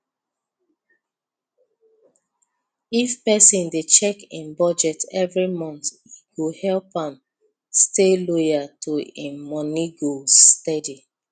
if person dey check im budget every month e go help am stay loyal to im money goals steady